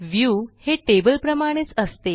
view हे टेबलप्रमाणेच असते